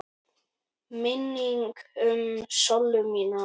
Minning um Sollu mína.